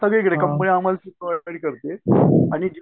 सगळीकडे कंपनी आम्हाला करतेय आणि